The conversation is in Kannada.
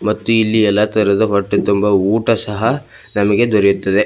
ಮತ್ತು ಇಲ್ಲಿ ಎಲ್ಲಾ ತರಹದ ಹೊಟ್ಟೆ ತುಂಬಾ ಊಟ ಸಹ ನಮಗೆ ದೊರೆಯುತ್ತದೆ.